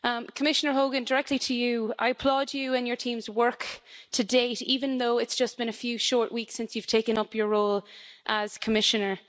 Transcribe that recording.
Commissioner Hogan, directly to you I applaud you and your teams' work to date, even though it's just been a few short weeks since you've taken up your role as Commissioner.